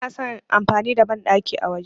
Bana son amfani da banɗaki a waje.